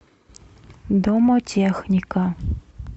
домотехника